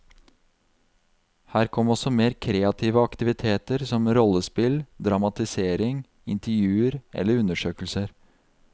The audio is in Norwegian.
Her kommer også mer kreative aktiviteter som rollespill, dramatisering, intervjuer eller undersøkelser.